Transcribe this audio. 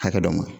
Hakɛ dɔ ma